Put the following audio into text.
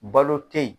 Balo tɛ yen